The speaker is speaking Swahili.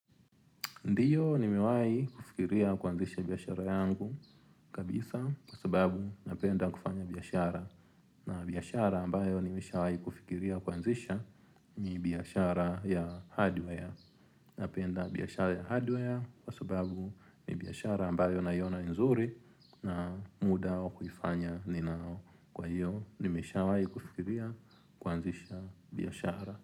Ndio nimewai kufikiria kuanzisha biashara yangu kabisa kwa sababu napenda kufanya biashara. Na biashara ambayo nimeshawai kufikiria kuanzisha ni biashara ya hardware. Napenda biashara ya hardware kwa sababu ni biashara ambayo naiona ni nzuri na muda wa kufanya ninao. Kwa hio nimeshawai kufikiria kuanzisha biashara.